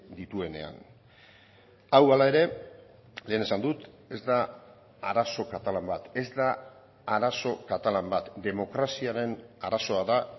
dituenean hau hala ere lehen esan dut ez da arazo katalan bat ez da arazo katalan bat demokraziaren arazoa da